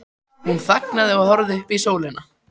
Hún þagnaði og horfði upp í sólina.